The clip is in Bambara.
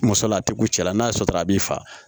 Muso la a tɛ ku cɛla n'a ye sɔrɔ a b'i fa